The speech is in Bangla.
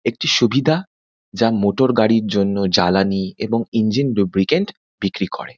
একটি সুবিধা যা মোটর গাড়ির জন্য জ্বালানি এবং ইঞ্জিন লুব্রিকেন্ট বিক্রি করে।